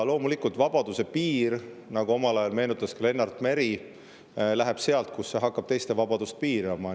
Loomulikult, nagu ka Lennart Meri omal ajal meenutas, et vabaduse piir läheb sealt, kus see hakkab teiste vabadust piirama.